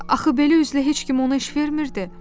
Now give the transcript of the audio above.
Axı belə üzlə heç kim ona heç iş vermirdi.